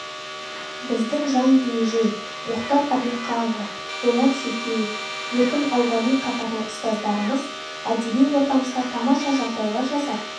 біздің жаң диңжиң мұхтар әбілқақұлы болаш шөкеев еркін ауғали қатарлы ұстаздарымыз әдеби ортамызға тамаша жағдайлар жасап